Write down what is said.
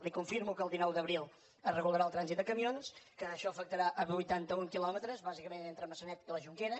li confirmo que el dinou d’abril es regularà el trànsit de camions que això afectarà vuitanta un quilòmetres bàsicament entre maçanet i la jonquera